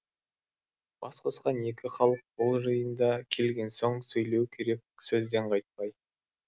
бас қосқан екі халық бұл жиында келген соң сөйлеу керек сөзден қайтпай